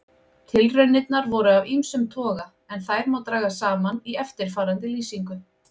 Tilraunirnar voru af ýmsum toga en þær má draga saman í eftirfarandi lýsingu.